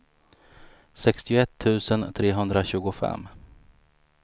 sextioett tusen trehundratjugofem